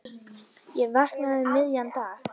Ég vaknaði um miðjan dag.